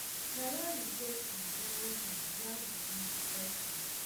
malawi get um zero points while burundi get one